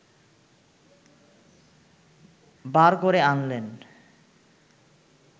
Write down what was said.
বার করে আনলেন!